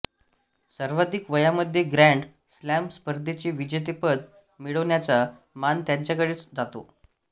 सर्वाधिक वयामध्ये grand slam स्पर्धेचे विजेतेपद मिळवण्याचा मान त्याच्याकडेच जातो